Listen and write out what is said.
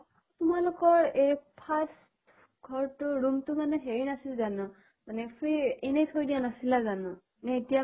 তোমালোকৰ এহ first ঘৰ্ টোৰ room টো মানে হেৰি নাছিল জানো? মানে free এনে থৈ দিয়া নাছিলা জানো?